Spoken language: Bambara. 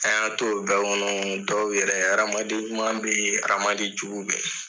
An y'an t'o bɛɛ kɔnɔ dɔw yɛrɛ adamaden ɲuman be yen , adamaden jugu be yen.